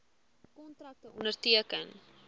kontrakte onderteken